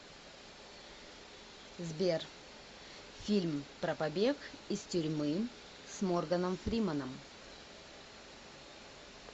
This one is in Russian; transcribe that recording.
сбер фильм про побег из тюрьмы с морганом фрименом